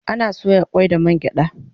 Ana soya kwai da man gyada